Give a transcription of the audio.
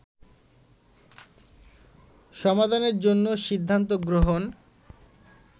সমাধানের জন্য সিদ্ধান্ত গ্রহণ